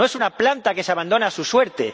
No es una planta que se abandona a su suerte.